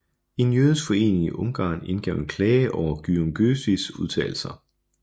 En jødisk forening i Ungarn indgav en klage over Gyöngyösis udtalelser